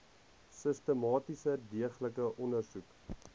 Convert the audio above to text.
sistematiese deeglike ondersoek